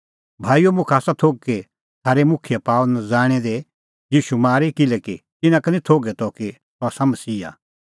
भाईओ मुखा आसा थोघ कि थारै मुखियै पाअ नज़ाणै दी ईशू मारी किल्हैकि तिन्नां का निं थोघै त कि सह आसा मसीहा